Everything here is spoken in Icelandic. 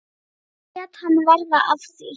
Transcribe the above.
Nú lét hann verða af því.